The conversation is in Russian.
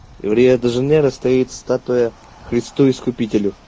в рио де жанейро стоит статуя христу-искупителю